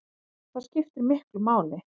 Það skiptir miklu máli